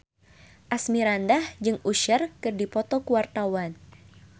Asmirandah jeung Usher keur dipoto ku wartawan